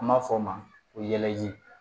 An b'a fɔ o ma ko yɛlɛji